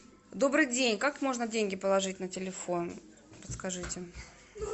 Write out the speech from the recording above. добрый день как можно деньги положить на телефон подскажите